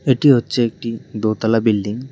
এটি হচ্ছে একটি দোতলা বিল্ডিং ।